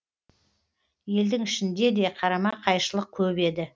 елдің ішінде де қарама қайшылық көп еді